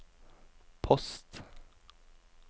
post